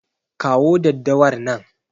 Kawo daddawar nan.